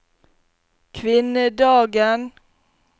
kvinnedagen